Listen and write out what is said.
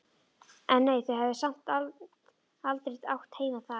En nei, þau höfðu samt aldrei átt heima þar.